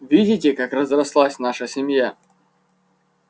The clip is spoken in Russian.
видите как разрослась наша семья